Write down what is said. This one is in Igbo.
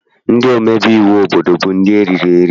Ndị omebe iwu obodo bụ ndị eriri eri.